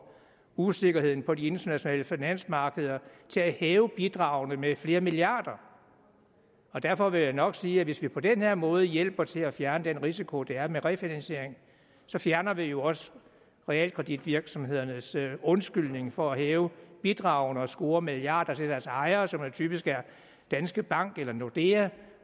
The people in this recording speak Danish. usikkerheden på de internationale finansmarkeder til at hæve bidragene med flere milliarder og derfor vil jeg nok sige at hvis vi på den her måde hjælper til at fjerne den risiko der er med refinansiering så fjerner vi jo også realkreditvirksomhedernes undskyldning for at hæve bidragene og score milliarder til deres ejere som typisk er danske bank eller nordea